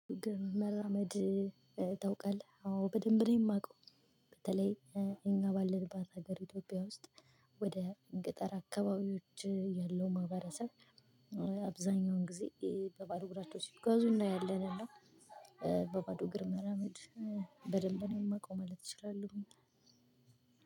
መራመድ ታውቃለህ አዎ በደንብ ነው የማውቀው በተለይ እኛ ባለንባት ሀገር ኢትዮጵያ ውስጥ ወደ ገጠር አካባቢዎች ያለው ማህበረሰብ አብዛኛውን ጊዜ በባዶ እግራቸው ሲጓዙ እናያለን እና በባዶ እግር መራመድ በደንብ ነው የማውቀው ማለት አችላለውኝ።